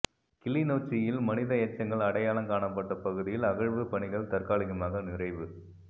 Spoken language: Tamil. கிளிநொச்சியில் மனித எச்சங்கள் அடையாளம் காணப்பட்ட பகுதியில்அகழ்வுப் பணிகள் தற்காலிகமாக நிறைவு